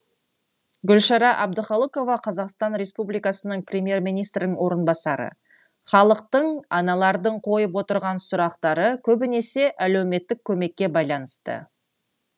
гүлшара әбдіқалықова қр премьер министрінің орынбасары халықтың аналардың қойып отырған сұрақтары көбінесе әлеуметтік көмекке байланысты